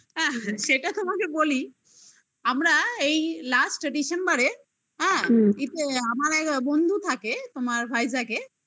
সেটা তোমাকে বলি আমরা এই last December -এ হ্যাঁ হুম এতে আমার এক বন্ধু থাকে তোমার ভাইজাকে